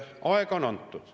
Aega on antud.